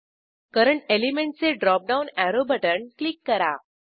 current element चे drop down arrow button click करा